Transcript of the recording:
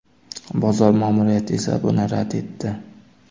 Bozor ma’muriyati esa buni rad etdi.